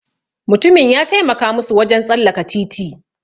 Mutumin ya taimaka musu wajen tsallaka titi.